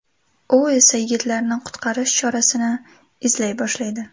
U esa yigitlarni qutqarish chorasini izlay boshlaydi.